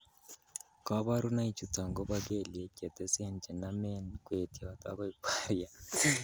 Koborunoichuton koboto kelyek chetesen chenomen kwetiot akoi kwariat.